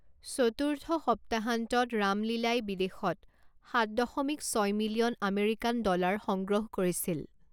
চতুৰ্থ সপ্তাহান্তত ৰাম লীলাই বিদেশত সাত দশমিক ছয় মিলিয়ন আমেৰিকান ডলাৰ সংগ্ৰহ কৰিছিল।